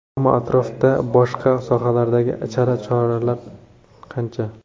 Ammo atrofda boshqa sohalardagi chala choralar qancha?